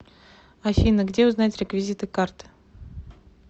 афина где узнать реквизиты карты